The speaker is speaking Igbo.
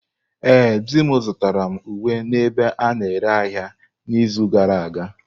Ee, di m zụtara m uwe n'ebe a na-ere ahịa n'izu gara aga.